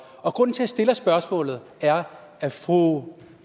og grunden til at jeg stiller spørgsmålet er at fru